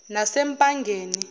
nasempangeni